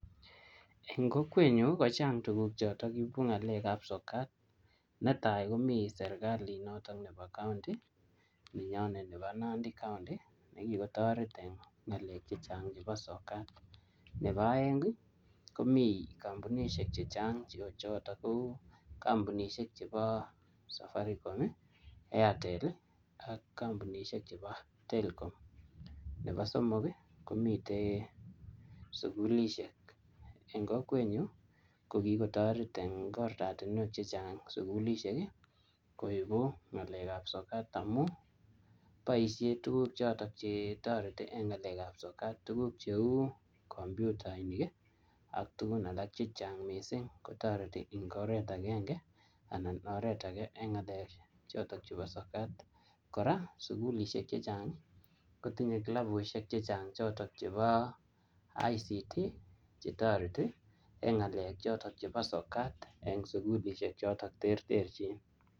Eng kokwet nyu, ko chang tuguk chotok ibu ngalek ap sokat. Netai, komii serekalit notok nebo county, nenyonet nebo Nandi county ne kikotoret eng ng'alek chechang' chebo sokat. Nebo aeng, komii kampunishek chechang cheu chotok kou kampunishek chebo safaricom, airtel, ak kampunishek chebo telkom. Nebo somok, komite sukulishek. Eng kokwet nyu, ko kikotoret eng oratunwek chechang' sukulishek koibu ng'alek ap sokat amu boisie tuguk chotok che toreti eng ng'alek ap sokat. Tuguk cheu kompyutainik, ak tugun alak chechang missing kotoreti eng oret agenge anan oret age eng ng'alek chotok chebo sokat. Kora, sukulishek chechang, kotinye klabushek chechang chotok chebo ICT, che toreti eng ngalek chotok chebo sokat eng sukulishek chotok terterchin.